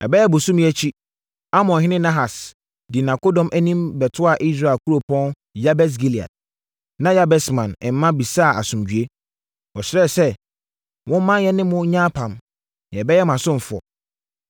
Ɛbɛyɛ bosome akyi, Amonhene Nahas dii nʼakodɔm anim bɛtoaa Israel kuropɔn Yabes Gilead. Na Yabesman mma bisaa asomdwoeɛ. Wɔsrɛɛ sɛ, “Momma yɛne mo nyɛ apam, na yɛbɛyɛ mo asomfoɔ.”